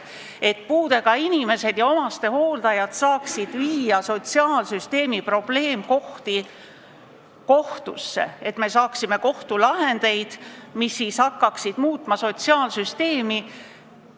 Eesmärk on, et puudega inimesed ja omastehooldajad saaksid esitada sotsiaalsüsteemi probleemkohtadega seotud juhtumeid kohtusse, et me saaksime kohtulahendeid, mis hakkaksid muutma sotsiaalsüsteemi.